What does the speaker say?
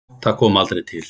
Það kom aldrei til.